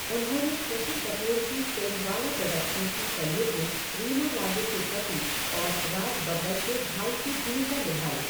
उन्होंने शशि कपूर की फिल्मवाला प्रोडक्शंस की कलयुग में रीमा लागू के पति और राज बब्बर के भाई की भूमिका निभाई।